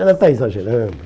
Ela está exagerando.